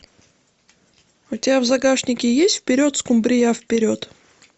у тебя в загашнике есть вперед скумбрия вперед